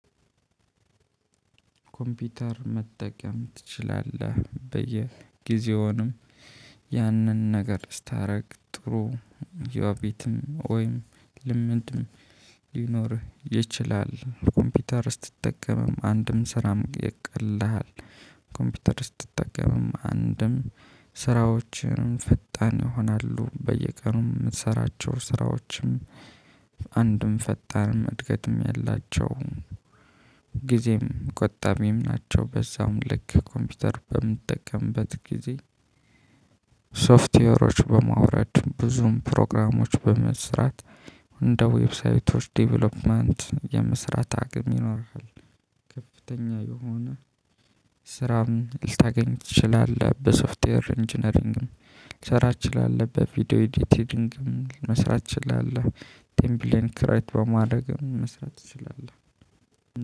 ኮምፒውተር መጠቀም ትችላለህ በየጊዜውንም ያንን ነገር ስታደርግ ጥሩ ዮቢትም ወይም ልምድም ሊኖርህ ይችላል። ኮምፒውተር ስትጠቀምም አንድም ስራም ይቀልልሃል። ኮምፒውተር ስትጠቀምም አንድም ስራዎችንም ፍጣን ይሆናሉ። በየቀኑም የምትሰራቸው ስራዎችም አንድም ፈጣንም እድገትም ያላቸው ጊዜም ቆጣቢም ናቸው። በዛውም ልክ ኮምፒውተር በምጠቀምበት ጊዜ ሶፍትዌሮች በማውረድ ብዙም ፕሮግራሞች በመስራት እንደ ዌብሳይቶች ዴቨሎፕመንት የምስራት አቅም ይኖራል። ከፍተኛ የሆነ ስራም ልታገኝ ትችላለህ በሶፍትዌር ኢንጂነሪንግም ልትሰራ ትችላለህ። በቪዲዮ ኤዲቲድንግም ትችላለህ። ቴምፕሌን ክሬት በማድረግም መስራት ትችላለህ